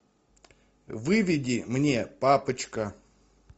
выведи мне папочка